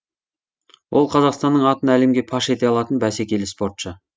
ол қазақстанның атын әлемге паш ете алатын бәсекелі спортшы